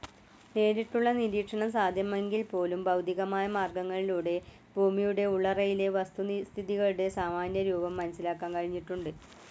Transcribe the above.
നേരിട്ടുള്ള നിരീക്ഷണം സാധ്യമെങ്കിൽപോലും, ഭൗതികമായ മാർഗ്ഗങ്ങളിലൂടെ ഭൂമിയുടെ ഉള്ളറയിലെ വസ്തുസ്ഥിതികളുടെ സാമാന്യരൂപം മനസിലാക്കാൻ കഴിഞ്ഞിട്ടുണ്ട്.